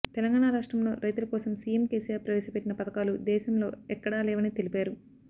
తెలంగాణ రాష్ట్రంలో రైతుల కోసం సీఎం కేసీఆర్ ప్రవేశ పెట్టిన పథకాలూ దేశంలో ఎక్కడా లేవని తెలిపారు